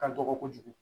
Ka dɔgɔ kojugu